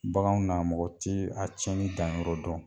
Bagan na mɔgɔ ti a cɛnni danyɔrɔ dɔn.